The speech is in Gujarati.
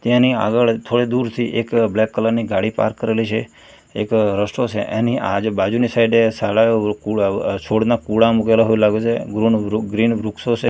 તેની આગળ થોડે દૂરથી એક બ્લેક કલર ની ગાડી પાર્ક કરેલી છે એક રસ્તો છે એની આજુ બાજુની સાઈડે છોડના કુળા મુકેલા હોય એવુ લાગે છે ગૃન વૃ ગ્રીન વ્રુક્ષો છે.